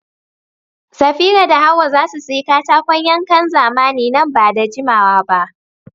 Safira da Hawwa za su sayi katakon yankan zamani nan ba da jimawa ba.